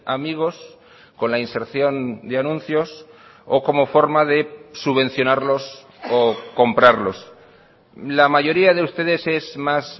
amigos con la inserción de anuncios o como forma de subvencionarlos o comprarlos la mayoría de ustedes es más